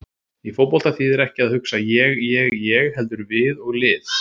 Í fótbolta þýðir ekkert að hugsa ég- ég- ég heldur við og lið.